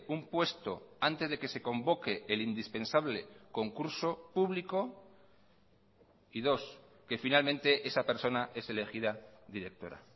un puesto antes de que se convoque el indispensable concurso público y dos que finalmente esa persona es elegida directora